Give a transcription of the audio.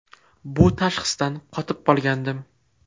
Bu tashxisdan qotib qolgandim.